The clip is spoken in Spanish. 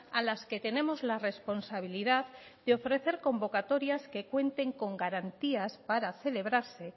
a las que tenemos la responsabilidad de ofrecer convocatorias que cuenten con garantías para celebrarse